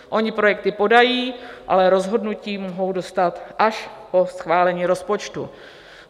Oni projekty podají, ale rozhodnutí mohou dostat až po schválení rozpočtu.